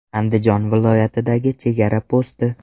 Andijon viloyatidagi chegara posti.